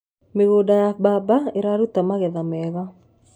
mĩgũnda ya mbamba iraruta magetha mega